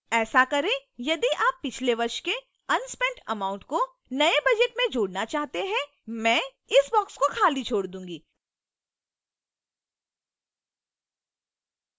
ऐसा करें यदि आप पिछले वर्ष के unspent amount को नए budget में जोड़ना चाहते हैं